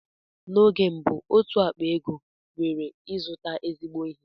Na oge mbụ otú ákpá ego nwere ịzụta ezigbo ihe.